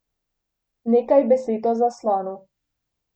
Nekaj besed o zaslonu.